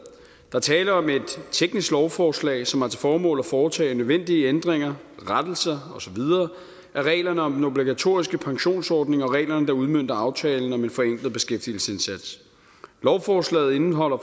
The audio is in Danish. er tale om et teknisk lovforslag som har til formål at foretage nødvendige ændringer rettelser og så videre af reglerne om den obligatoriske pensionsordning og af reglerne der udmønter aftalen om en forenklet beskæftigelsesindsats lovforslaget indeholder